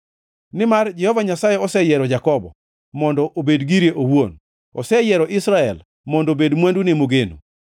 Nimar Jehova Nyasaye oseyiero Jakobo, mondo obed gire owuon; oseyiero Israel, mondo obed mwandune mogeno.